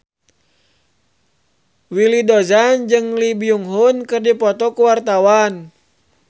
Willy Dozan jeung Lee Byung Hun keur dipoto ku wartawan